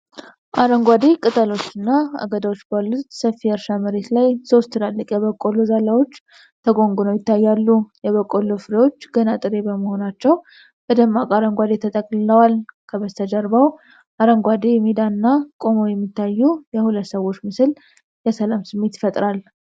አረንጓዴ ቅጠሎችና አገዳዎች ባሉት ሰፊ የእርሻ መሬት ላይ ሶስት ትላልቅ የበቆሎ ዛላዎች ተጎንጉነው ይታያሉ። የበቆሎው ፍሬዎች ገና ጥሬ በመሆናቸው በደማቅ አረንጓዴ ተጠቅልለዋል። ከበስተጀርባው አረንጓዴ ሜዳና ቆመው የሚታዩ የሁለት ሰዎች ምስል የሰላም ስሜት ይፈጥራል።